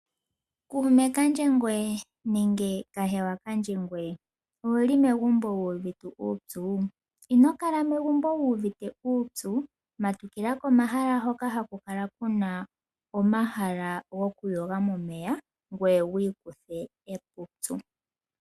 Kuume kandje ngweye nenge kahewa kadje ngweye ouli megumbo wu uvite uupyu ino kala megumbo wu uvite uupyu matukila komahala hoka haku kala kuna omahala gokuyoga momeya ngoye wi ikuthe epupyu.